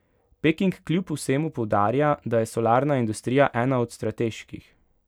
Peking kljub vsemu poudarja, da je solarna industrija ena od strateških.